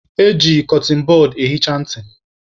Eji kọtịn bọd ehicha ntị.